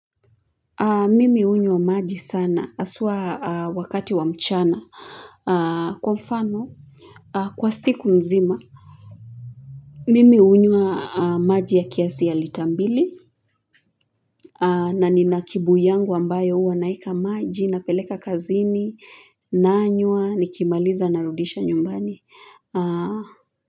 Mimi hunywa maji sana haswa wakati wa mchana kwa mfano kwa siku nzima. Mimi hunywa maji ya kiasi ya lita mbili na nina kibuyu yangu ambayo uwa naeka maji napeleka kazini nanywa nikimaliza narudisha nyumbani.